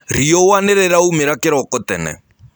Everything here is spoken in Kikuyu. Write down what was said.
Rĩũa nĩrĩraũmĩra kĩroko tene.